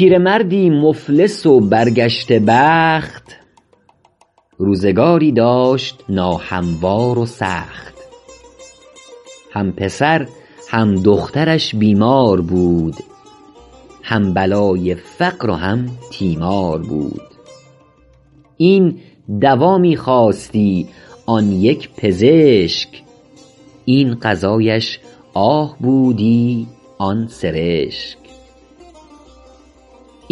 پیرمردی مفلس و برگشته بخت روزگاری داشت ناهموار و سخت هم پسر هم دخترش بیمار بود هم بلای فقر و هم تیمار بود این دوا می خواستی آن یک پزشک این غذایش آه بودی آن سرشک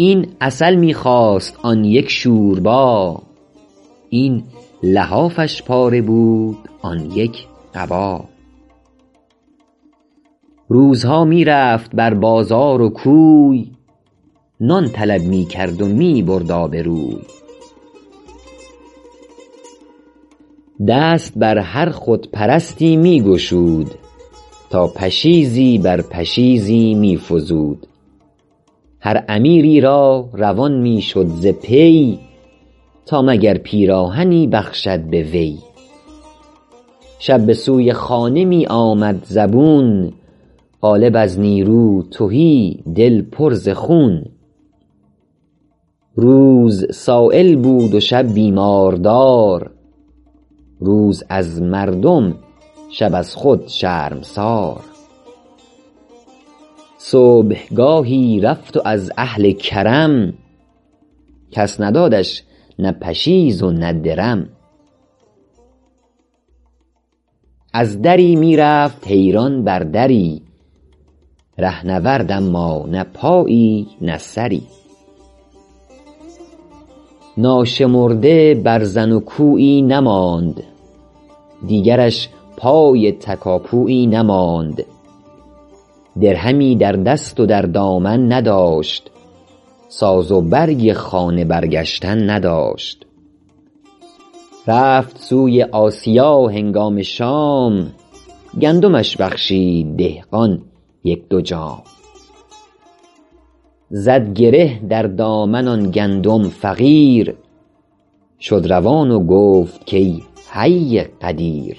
این عسل می خواست آن یک شوربا این لحافش پاره بود آن یک قبا روزها می رفت بر بازار و کوی نان طلب می کرد و می برد آبروی دست بر هر خودپرستی می گشود تا پشیزی بر پشیزی می فزود هر امیری را روان می شد ز پی تا مگر پیراهنی بخشد به وی شب به سوی خانه می آمد زبون قالب از نیرو تهی دل پر ز خون روز سایل بود و شب بیماردار روز از مردم شب از خود شرمسار صبحگاهی رفت و از اهل کرم کس ندادش نه پشیز و نه درم از دری می رفت حیران بر دری رهنورد اما نه پایی نه سری ناشمرده برزن و کویی نماند دیگرش پای تکاپویی نماند درهمی در دست و در دامن نداشت ساز و برگ خانه برگشتن نداشت رفت سوی آسیا هنگام شام گندمش بخشید دهقان یک دو جام زد گره در دامن آن گندم فقیر شد روان و گفت که ای حی قدیر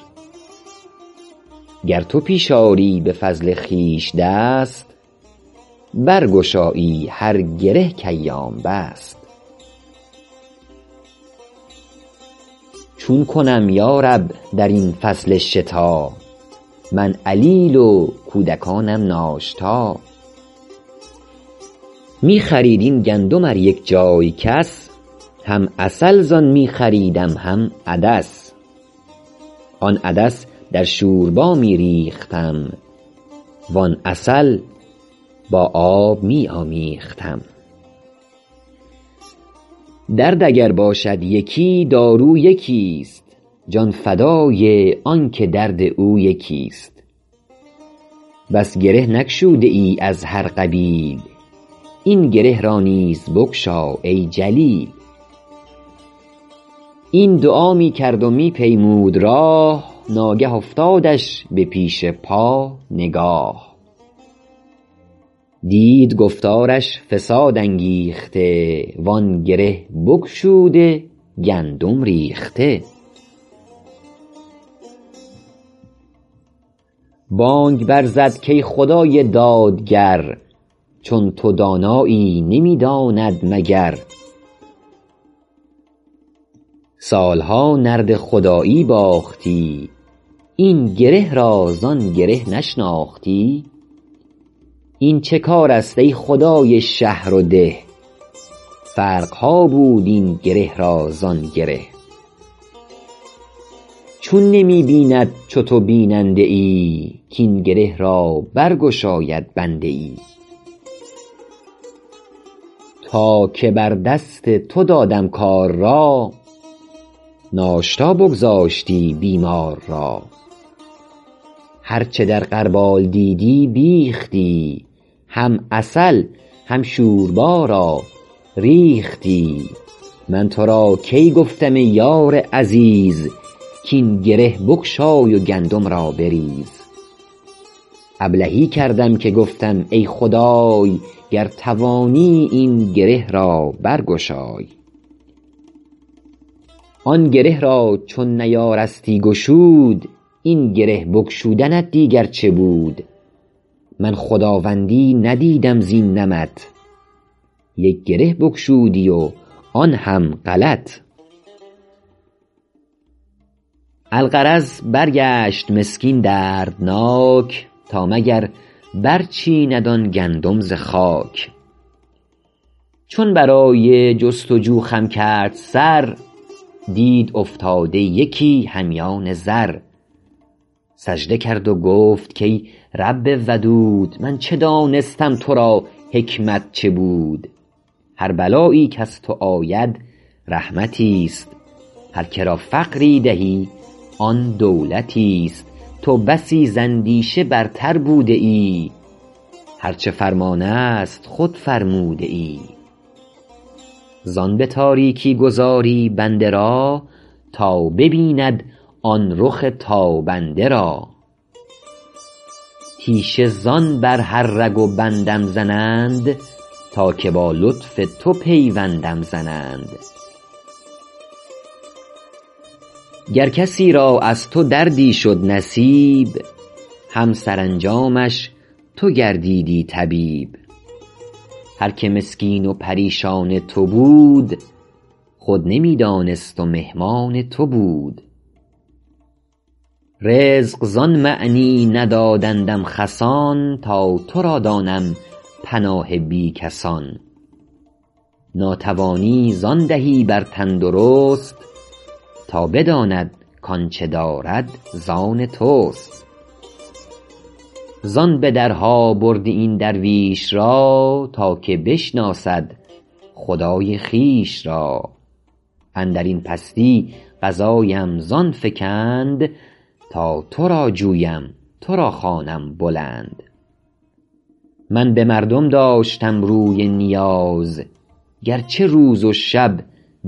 گر تو پیش آری به فضل خویش دست برگشایی هر گره که ایام بست چون کنم یارب در این فصل شتا من علیل و کودکانم ناشتا می خرید این گندم ار یک جای کس هم عسل زان می خریدم هم عدس آن عدس در شوربا می ریختم وان عسل با آب می آمیختم درد اگر باشد یکی دارو یکی ست جان فدای آن که درد او یکی ست بس گره بگشوده ای از هر قبیل این گره را نیز بگشا ای جلیل این دعا می کرد و می پیمود راه ناگه افتادش به پیش پا نگاه دید گفتارش فساد انگیخته وآن گره بگشوده گندم ریخته بانگ بر زد که ای خدای دادگر چون تو دانایی نمی داند مگر سال ها نرد خدایی باختی این گره را زان گره نشناختی این چه کار است ای خدای شهر و ده فرق ها بود این گره را زان گره چون نمی بیند چو تو بیننده ای کاین گره را برگشاید بنده ای تا که بر دست تو دادم کار را ناشتا بگذاشتی بیمار را هرچه در غربال دیدی بیختی هم عسل هم شوربا را ریختی من تو را کی گفتم ای یار عزیز کاین گره بگشای و گندم را بریز ابلهی کردم که گفتم ای خدای گر توانی این گره را برگشای آن گره را چون نیارستی گشود این گره بگشودنت دیگر چه بود من خداوندی ندیدم زین نمط یک گره بگشودی و آن هم غلط الغرض برگشت مسکین دردناک تا مگر برچیند آن گندم ز خاک چون برای جستجو خم کرد سر دید افتاده یکی همیان زر سجده کرد و گفت کای رب ودود من چه دانستم تو را حکمت چه بود هر بلایی کز تو آید رحمتی است هر که را فقری دهی آن دولتی است تو بسی زاندیشه برتر بوده ای هرچه فرمان است خود فرموده ای زان به تاریکی گذاری بنده را تا ببیند آن رخ تابنده را تیشه زان بر هر رگ و بندم زنند تا که با لطف تو پیوندم زنند گر کسی را از تو دردی شد نصیب هم سرانجامش تو گردیدی طبیب هر که مسکین و پریشان تو بود خود نمی دانست و مهمان تو بود رزق زان معنی ندادندم خسان تا تو را دانم پناه بی کسان ناتوانی زان دهی بر تندرست تا بداند کآنچه دارد زان توست زان به درها بردی این درویش را تا که بشناسد خدای خویش را اندرین پستی قضایم زان فکند تا تو را جویم تو را خوانم بلند من به مردم داشتم روی نیاز گرچه روز و شب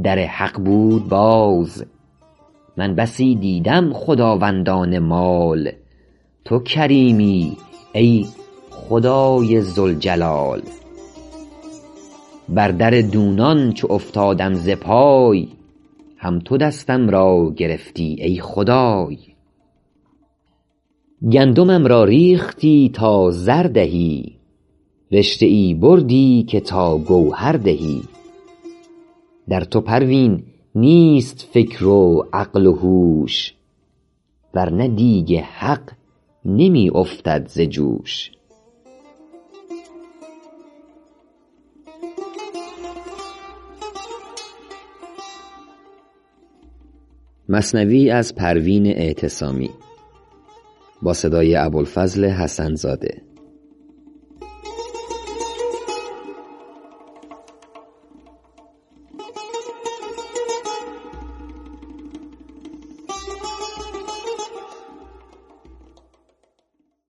در حق بود باز من بسی دیدم خداوندان مال تو کریمی ای خدای ذوالجلال بر در دونان چو افتادم ز پای هم تو دستم را گرفتی ای خدای گندمم را ریختی تا زر دهی رشته ام بردی که تا گوهر دهی در تو پروین نیست فکر و عقل و هوش ورنه دیگ حق نمی افتد ز جوش